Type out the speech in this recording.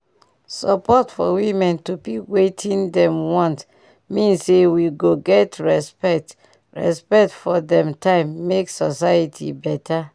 support for women to pick wetin dem want mean say we go get respect respect for dem time make society beta